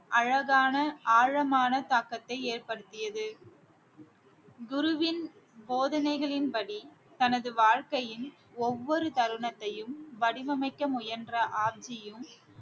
அழகான ஆழமான தாக்கத்தை ஏற்படுத்தியது குருவின் போதனைகளின்படி தனது வாழ்க்கையின் ஒவ்வொரு தருணத்தையும் வடிவமைக்க முயன்ற ஆப்ஜியும்